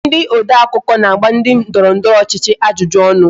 Ndị odeakụkọ na-agba ndị ndọrọndọrọ ọchịchị ajụjụ ọnụ